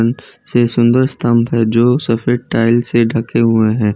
से सुंदर स्तंभ है जो सफेद टाइल्स से ढके हुएं हैं।